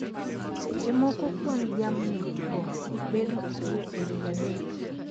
Seche moko kwan jamni go bedo ariyo e wi adek.